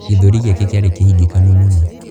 Gĩthũri gĩake kĩarĩ kĩhingĩkanu mũno.